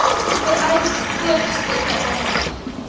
vereis voortgesette aandag